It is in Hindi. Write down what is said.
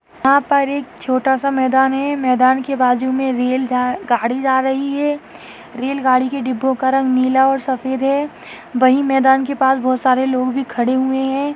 यहाँ पर एक छोटा सा मैदान है मैदान के बाजू में रेल गा-गाड़ी जा रही है रेल गाड़ी के डिब्बे का रंग नीला और सफ़ेद है वही मैदान के पास बहुत सारे लोग भी खड़े हुए हैं।